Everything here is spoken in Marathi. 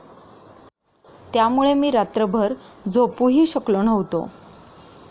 त्यामुळे मी रात्रभर झोपूही शकलो नव्हतो.